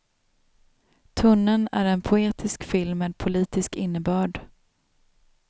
Tunneln är en poetisk film med politisk innebörd.